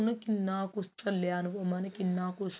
ਉਹਨੇ ਕਿੰਨਾ ਕੁਛ ਥਲੀਆਂ ਨੂੰ ਉਹਨਾਂ ਨੇ